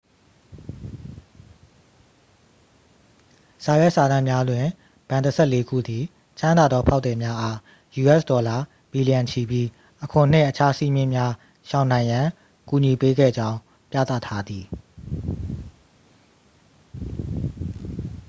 စာရွက်စာတမ်းများတွင် ဘဏ်တစ်ဆယ့်လေးခုသည် ချမ်းသာသော ဖောက်သည်များအား ယူအက်စ်ဒေါ်လာ ဘီလျံချီပြီး အခွန်နှင့် အခြားစည်းမျဉ်းများရှောင်နိုင်ရန် ကူညီပေးခဲ့ကြောင်း ပြသထားသည်